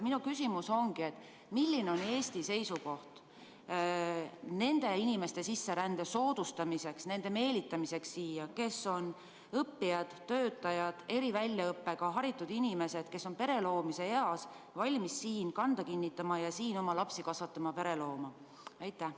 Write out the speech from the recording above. Minu küsimus ongi: milline on Eesti seisukoht nende inimeste sisserände soodustamiseks, nende meelitamiseks siia, kes on õppijad, töötajad, eri väljaõppega haritud inimesed, kes on pere loomise eas, valmis siin kanda kinnitama ja siin oma lapsi kasvatama, pere looma?